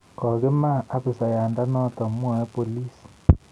Kogima abisayanoto, mwae bolis